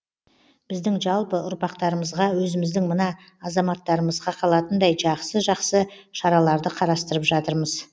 біздің жалпы ұрпақтарымызға өзіміздің мына азаматтарымызға қалатындай жақсы жақсы шараларды қарастырып жатырмыз